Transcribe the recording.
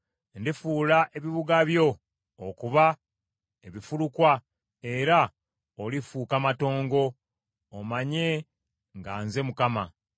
Ndifuula ebibuga byo okuba ebifulukwa era olifuuka matongo, omanye nga nze Mukama .’